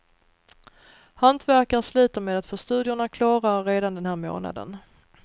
Hantverkare sliter med att få studiorna klara redan den här månaden.